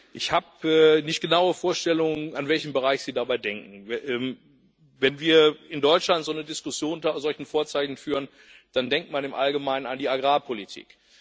Ich habe keine genauen Vorstellungen, an welchen Bereich Sie dabei denken. Wenn wir in Deutschland so eine Diskussion unter solchen Vorzeichen führen, dann denkt man im Allgemeinen an die Agrarpolitik.